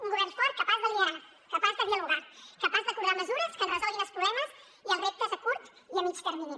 un govern fort capaç de liderar capaç de dialogar capaç d’acordar mesures que ens resolguin els problemes i els reptes a curt i a mitjà termini